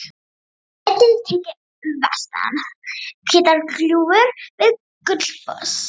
Myndin er tekin vestan Hvítárgljúfurs við Gullfoss.